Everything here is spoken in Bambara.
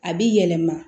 A b'i yɛlɛma